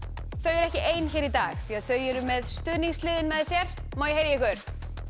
þau eru ekki ein hér í dag því þau eru með stuðningslið með sér má ég heyra í ykkur